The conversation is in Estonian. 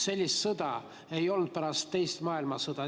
Sellist sõda ei ole olnud pärast teist maailmasõda.